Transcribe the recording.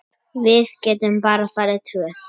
Við getum bara farið tvö.